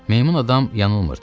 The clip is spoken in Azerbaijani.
Meymun adam yanılmırdı.